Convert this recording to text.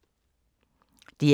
DR K